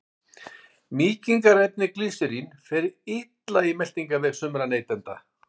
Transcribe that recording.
Mýkingarefnið glýserín fer illa í meltingarveg sumra neytenda.